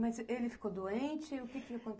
Mas ele ficou doente, e o que que aconteceu?